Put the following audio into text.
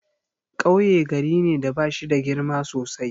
Kauye gari ne da bashida girma sosai.